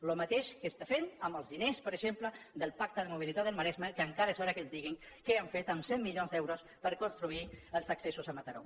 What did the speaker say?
el mateix que està fent amb els diners per exemple del pacte de mo·bilitat del maresme que encara és hora que ens diguin què han fet amb cent milions d’euros per construir els accessos a mataró